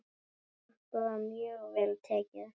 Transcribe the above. Okkur var mjög vel tekið.